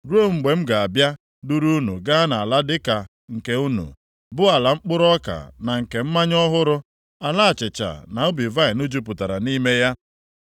ruo mgbe m ga-abịa duru unu gaa nʼala dịka nke unu, bụ ala mkpụrụ ọka na nke mmanya ọhụrụ, ala achịcha na ubi vaịnị jupụtara nʼime ya.